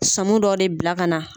Samo dɔ de bila ka na